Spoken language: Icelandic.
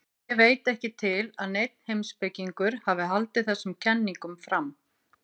Ég veit ekki til að neinn heimspekingur hafi haldið þessum kenningum fram.